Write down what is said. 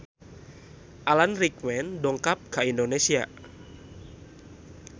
Alan Rickman dongkap ka Indonesia